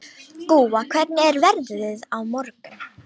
Gúa, hvernig er veðrið á morgun?